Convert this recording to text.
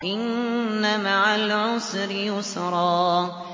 إِنَّ مَعَ الْعُسْرِ يُسْرًا